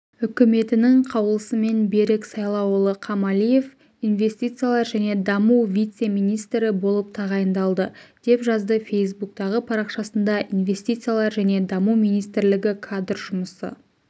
үкіметінің қаулысымен берік сайлауұлы қамалиев инвестициялар және даму вице-министрі болып тағайындалды деп жазды фейсбуктағы парақшасында инвестициялар және даму министрлігі кадр жұмысы